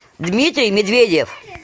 дмитрий медведев